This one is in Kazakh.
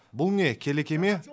бұл не келеке ме